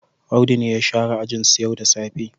Audu ne ya share ajinsu yau da safe.